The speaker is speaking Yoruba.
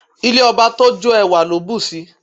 Ilé ọba tó jó, ẹwà ló bù sí i.